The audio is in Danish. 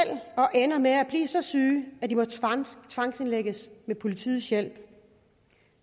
og ender med at blive så syge at de må tvangsindlægges med politiets hjælp